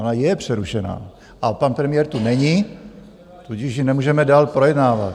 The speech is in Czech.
Ona je přerušená a pan premiér tu není, tudíž ji nemůžeme dál projednávat.